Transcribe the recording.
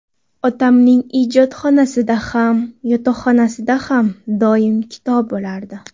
Otamning ijodxonasida ham, yotoqxonasida ham doim kitob bo‘lardi.